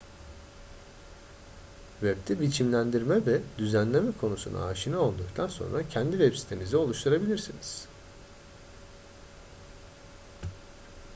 web'de biçimlendirme ve düzenleme konusuna aşina olduktan sonra kendi web sitenizi oluşturabilirsiniz